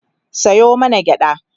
Sayo mana gyaɗa